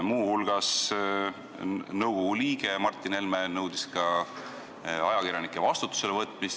Muu hulgas nõudis nõukogu liige Martin Helme ka ajakirjanike vastutusele võtmist.